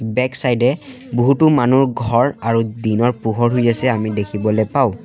Back side এ বহুতো মানুহ ঘৰ আৰু দিনৰ পোহৰ হৈ আছে আমি দেখিবলৈ পাওঁ।